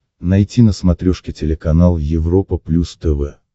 найти на смотрешке телеканал европа плюс тв